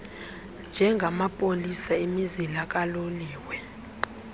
njengamapolisa emizila kaloliwe